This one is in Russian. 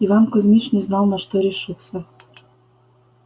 иван кузмич не знал на что решиться